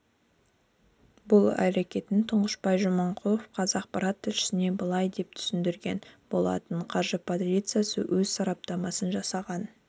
бұл әрекетін тұңғышбай жаманқұлов қазақпарат тілшісіне былай деп түсіндірген болатын қаржы полициясы өз сараптамасын жасаған